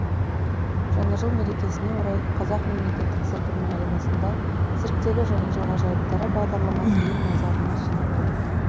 жаңа жыл мерекесіне орай қазақ мемлекеттік циркінің аренасында цирктегі жаңа жыл ғажайыптары бағдарламасы ел назарына ұсынылды